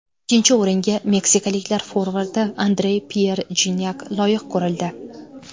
Ikkinchi o‘ringa meksikaliklar forvardi Andre-Pyer Jinyak loyiq ko‘rildi.